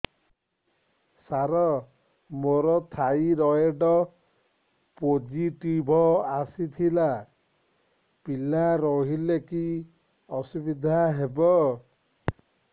ସାର ମୋର thyroid positive ଆସିଥିଲା ପିଲା ରହିଲେ କି ଅସୁବିଧା ହେବ